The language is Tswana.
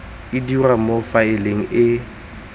e dirwa mo faeleng e